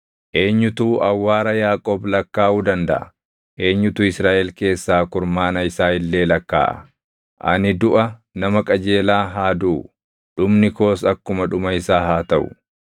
Eenyutu awwaara Yaaqoob lakkaaʼuu dandaʼa? Eenyutu Israaʼel keessaa kurmaana isaa illee lakkaaʼa? Ani duʼa nama qajeelaa haa duʼu; dhumni koos akkuma dhuma isaa haa taʼu!”